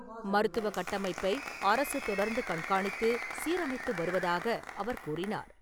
மருத்துவக் கட்டமைப்பை அரசு தொடர்ந்து கண்காணித்து, சீரமைத்து வருவதாக அவர் கூறினார்.